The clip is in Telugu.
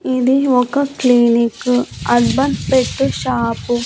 ఇది ఒక క్లినిక్ అర్బన్ పెట్టే షాపు .